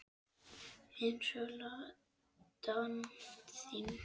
Eins og Ladan þín.